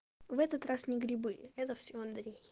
в этот раз не грибы это все андрей